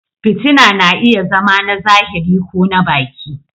fitina na iya zama na zahiri ko na baki.